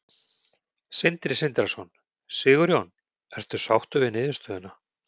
Sindri Sindrason: Sigurjón, ertu sáttur við niðurstöðuna?